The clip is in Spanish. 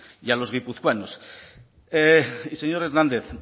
y a los guipuzcoanos y señor hernández